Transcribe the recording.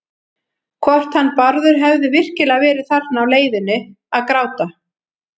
Hvort hann Bárður hefði virkilega verið þarna á leiðinu að gráta.